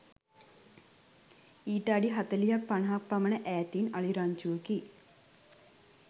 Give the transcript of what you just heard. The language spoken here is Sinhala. ඊට අඩි හතළිහක් පනහක් පමණ ඈතින් අලි රංචුවකි